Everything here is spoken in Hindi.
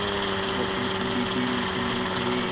अगर तुम अब भी नीचे नहीं आये